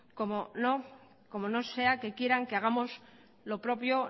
como no sea que quieran que hagamos lo propio